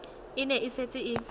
e ne e setse e